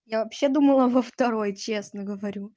я вообще думала во второй честно говорю